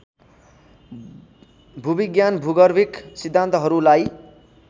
भूविज्ञान भूगर्भिक सिद्धान्तहरूलाई